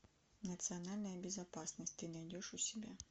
национальная безопасность ты найдешь у себя